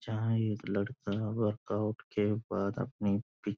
जहाँ एक लड़का वर्कआउट के बाद अपनी --